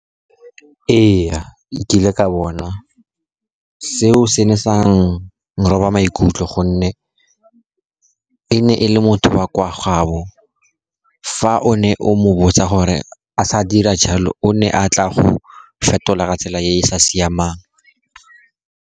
Ee, e kile ka bona seo, se ne sa nroba maikutlo, gonne e ne e le motho wa kwa gaabo. Fa o ne o mobotsa gore a sa dira jalo, o ne a tla go fetola tsela e e sa siamang.